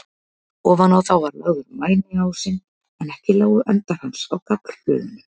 Ofan á þá var lagður mæniásinn, en ekki lágu endar hans á gaflhlöðunum.